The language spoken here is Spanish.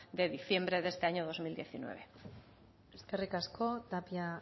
de diciembre de este año dos mil diecinueve eskerrik asko tapia